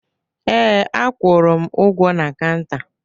Ee, akwụrụ m ụgwọ na kanta